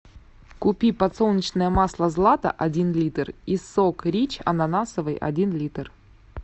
купи подсолнечное масло злато один литр и сок рич ананасовый один литр